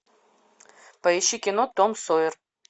поищи кино том сойер